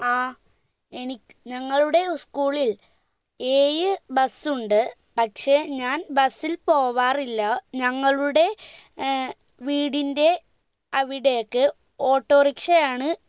ആ എനിക്ക് ഞങ്ങളുടെ school ൽ ഏഴ് bus ഉണ്ട് പക്ഷെ ഞാൻ bus ൽ പോവാറില്ല ഞങ്ങളുടെ ഏർ വീടിന്റെ അവിടേക്ക് auto rickshaw യാണ്